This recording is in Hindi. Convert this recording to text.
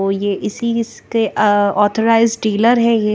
और यह इसी के ऑथराइज डीलर है यह--